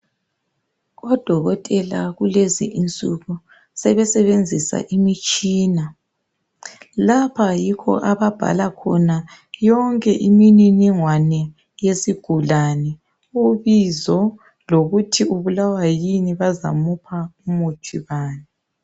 Odokotela kulezi insuku sebesebenzisa imitshina. Lapha yikho ababhala khona yonke imininingwane yesigulane, ubizo lokuthi ubulawa yini, bazamupha umuthi bani.